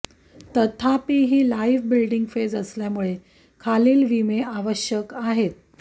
तथापि ही life building phase असल्यामुळे खालील विमे आवश्यक आहेत